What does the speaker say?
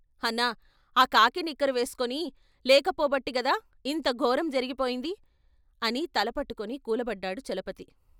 Hannah, ఆ khaki knicker వేసుకుని లేకపోబట్టిగదా ఇంత ఘోరం జరిగేపోయింది ' అని తలపట్టుకుని కూల బడ్డాడు చలపతీ.